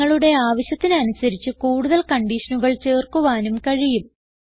നിങ്ങളുടെ ആവശ്യത്തിന് അനുസരിച്ച് കൂടുതൽ കൺഡിഷനുകൾ ചേർക്കുവാനും കഴിയും